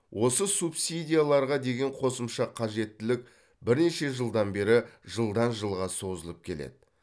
осы субсидияларға деген қосымша қажеттілік бірнеше жылдан бері жылдан жылға созылып келеді